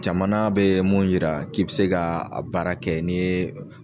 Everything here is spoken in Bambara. Jamana bɛ mun yira k'i bɛ se ka a baara kɛ n'i ye